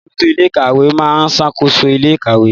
Alábòójútó ilé ìkàwé máa ń ṣàkóso ilé ìkàwé